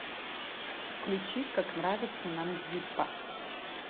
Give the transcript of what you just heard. включить как нравится нам зиппо